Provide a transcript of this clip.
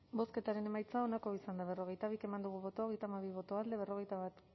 bozketaren emaitza onako izan da hirurogeita hamalau eman dugu bozka hogeita hamabi boto alde berrogeita bat